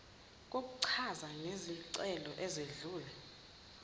kokuchaza ngezicelo ezedlule